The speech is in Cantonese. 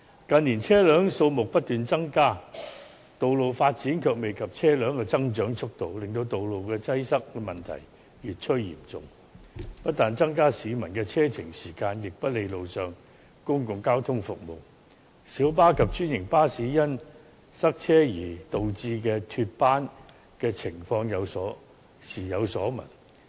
近年車輛數目不斷增加，但道路發展卻未及車輛的增長速度，令道路擠塞問題越趨嚴重，不但增加了市民的車程時間，亦不利路上的公共交通服務，小巴及專營巴士因塞車而導致脫班的情況時有所聞。